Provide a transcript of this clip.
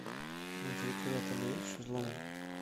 на территории отеля есть шезлонги